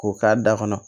K'o k'a da kɔnɔ